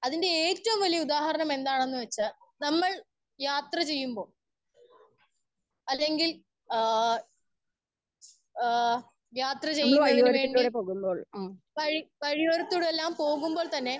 Speaker 1 അതിന്റെ ഏറ്റവും വലിയ ഉദാഹരണം എന്താണെന്ന് വെച്ചാൽ നമ്മൾ യാത്ര ചെയ്യുമ്പോൾ അല്ലെങ്കിൽ ഏഹ് അ യാത്ര ചെയ്യുന്നതിന് വേണ്ടി വഴി വഴിയോരത്തു എല്ലാം പോകുമ്പോൾ തന്നെ.